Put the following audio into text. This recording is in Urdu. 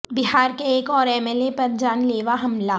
بہار کے ایک اور ایم ایل اے پر جان لیوا حملہ